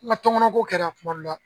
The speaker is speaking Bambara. tɔnkɔnɔ ko kɛra kuma dɔ la